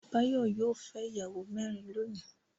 Báyọ̀ yóò fẹ́ ìyàwó mẹ́rin lónìí.